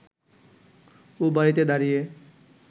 ও বাড়িতে দাঁড়িয়ে